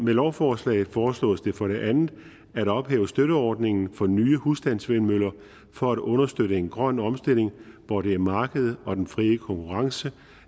lovforslaget foreslås det for det andet at ophæve støtteordningen for nye husstandsvindmøller for at understøtte en grøn omstilling hvor det er markedet og den frie konkurrence